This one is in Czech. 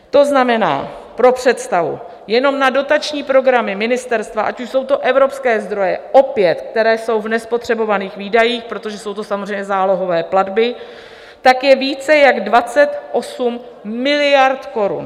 To znamená pro představu jenom na dotační programy ministerstva, ať už jsou to evropské zdroje, opět, které jsou v nespotřebovaných výdajích, protože jsou to samozřejmě zálohové platby, tak je více než 28 miliard korun.